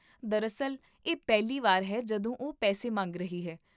ਦਰਅਸਲ, ਇਹ ਪਹਿਲੀ ਵਾਰ ਹੈ ਜਦੋਂ ਉਹ ਪੈਸੇ ਮੰਗ ਰਹੀ ਹੈ